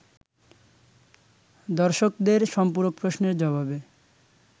দর্শকদের সম্পূরক প্রশ্নের জবাবে